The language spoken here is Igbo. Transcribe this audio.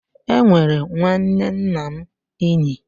Emere nwanne nna m Ínyì.